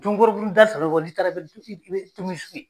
Tomikɔrɔbugu ni da n'i taara i bɛ tomisu ye.